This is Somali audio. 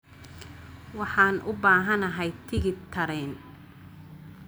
waxaan u baahanahay tigidh tareen